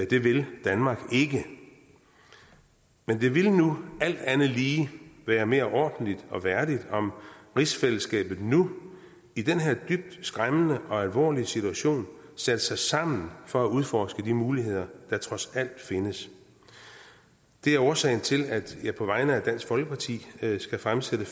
det vil danmark ikke men det vil alt andet lige være mere ordentligt og værdigt om rigsfællesskabet nu i den her dybt skræmmende og alvorlige situation satte sig sammen for at udforske de muligheder der trods alt findes det er årsagen til at jeg på vegne af dansk folkeparti skal fremsætte